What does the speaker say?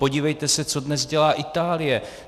Podívejte se, co dnes dělá Itálie.